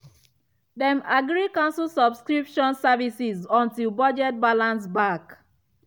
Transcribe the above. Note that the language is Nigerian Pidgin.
dem agree cancel subscription services until budget balance back.